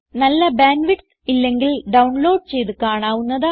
നല്ല bandwidth ഇല്ലെങ്കിൽ download ചെയ്ത് കാണാവുന്നതാണ്